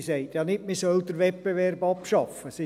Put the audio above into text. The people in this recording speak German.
Sie sagt ja nicht, dass man den Wettbewerb abschaffen soll.